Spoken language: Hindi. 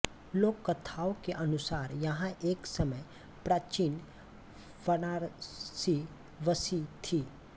लोक कथाओं के अनुसार यहाँ एक समय प्राचीन वाराणसी बसी थी